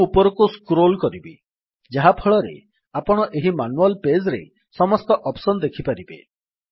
ମୁଁ ଉପରକୁ ସ୍କ୍ରୋଲ୍ କରିବି ଯାହାଫଳରେ ଆପଣ ଏହି ମାନୁଆଲ୍ ପେଜ୍ ରେ ସମସ୍ତ ଅପ୍ସନ୍ ଦେଖିପାରିବେ